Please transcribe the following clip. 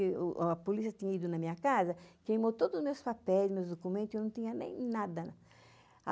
A polícia tinha ido na minha casa, queimou todos os meus papéis, meus documentos, e eu não tinha nem nada.